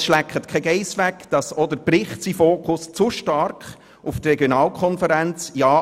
Es schleckt aber keine Geiss weg, dass auch der Bericht seinen Fokus zu stark auf die Regionalkonferenz und die Frage